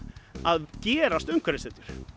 að gerast umhverfishetjur